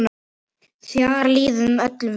Þar líður öllum vel.